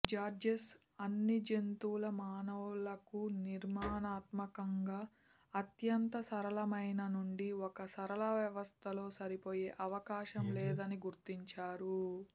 జార్జెస్ అన్ని జంతువులు మానవులకు నిర్మాణాత్మకంగా అత్యంత సరళమైన నుండి ఒక సరళ వ్యవస్థలో సరిపోయే అవకాశం లేదని గుర్తించారు